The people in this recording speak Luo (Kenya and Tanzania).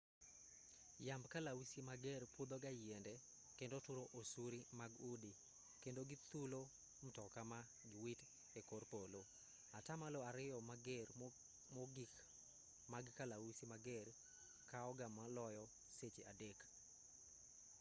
yamb kalausi mager pudho ga yiende kendo turo osuri mag udi kendo githulo mtoka ma giwit e kor polo atamalo ariyo mager mogik mag kalausi mager kao ga maloyo seche adek